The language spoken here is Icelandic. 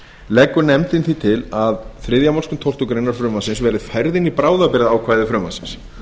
leggur nefndin því til að þriðju málsgrein tólftu greinar frumvarpsins verði færð inn í bráðabirgðaákvæði frumvarpsins